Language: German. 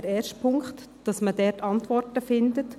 Ziel ist es, Antworten dazu zu finden.